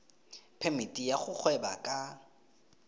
phemiti ya go gweba ka